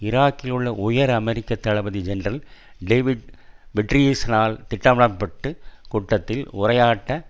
ஈராக்கிலுள்ள உயர் அமெரிக்க தளபதி ஜெனரல் டேவிட் பெட்ரீயஸால் திட்டமிடப்பட்ட கூட்டத்தில் உரையாற்ற